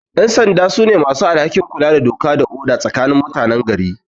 Ƴansanda su ne masu alhakin kula da doka da oda tsakanin mutanen gari